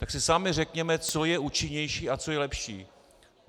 Tak si sami řekněme, co je účinnější a co je lepší.